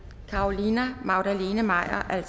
carolina magdalene maier